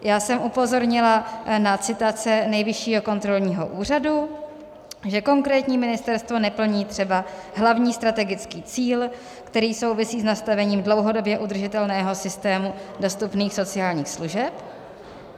Já jsem upozornila na citace Nejvyššího kontrolního úřadu, že konkrétní ministerstvo neplní třeba hlavní strategický cíl, který souvisí s nastavením dlouhodobě udržitelného systému dostupných sociálních služeb.